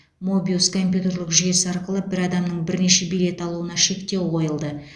мобиус компьютерлік жүйесі арқылы бір адамның бірнеше билет алуына шектеу қойылды